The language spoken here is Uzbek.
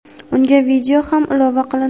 Unga video ham ilova qilindi.